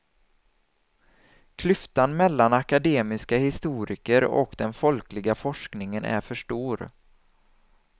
Klyftan mellan akademiska historiker och den folkliga forskningen är för stor.